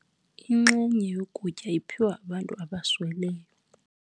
Inxenye yokutya iphiwe abantu abasweleyo.